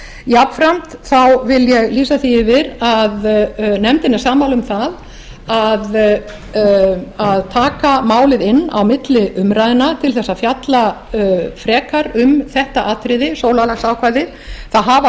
jafnframt vil ég lýsa því yfir að nefndin er sammála um það að taka málið inn á milli umræðna til þess að fjalla frekar um þetta atriði sólarlagsákvæðið það hafa